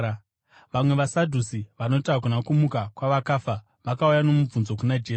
Vamwe vaSadhusi, vanoti hakuna kumuka kwavakafa, vakauya nomubvunzo kuna Jesu.